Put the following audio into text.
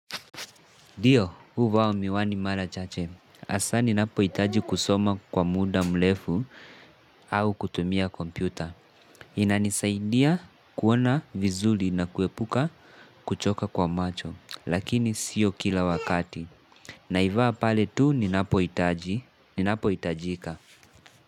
Ndi, uvaa miwani mara chache. Asa ninapo itaji kusoma kwa muda mlefu au kutumia kompyuta. Inanisaidia kuona vizuri na kuepuka kuchoka kwa macho. Lakini sio kila wakati. Naivaa pale tu ninapo itaji. Ninapo itajika.